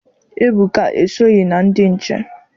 Ebuka esoghị na ndị nche.